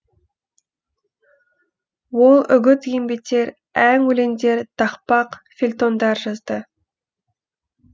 ол үгіт еңбетер ән өлеңдер тақпақ фельтондар жазды